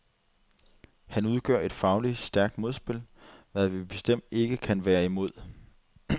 Han udgør et fagligt stærkt modspil, hvad vi bestemt ikke kan være imod.